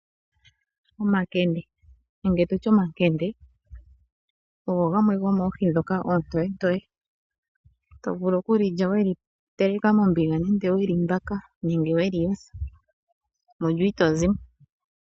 Omakende ogo gamwe gomoohi ndhoka oontoyentoye to vulu oku li lya we li teleka mombiga nenge we li mbaka nenge we li yotha. Mulyo ito zi mo.